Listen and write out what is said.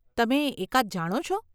તમે એકાદ જાણો છો?